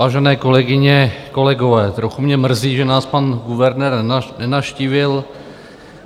Vážené kolegyně, kolegové, trochu mě mrzí, že nás pan guvernér nenavštívil.